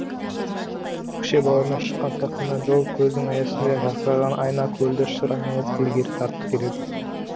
көкше бауырынан шыққан сақина жол көздің аясындай жарқыраған айна көлді шыр айналып ілгері тартып келеді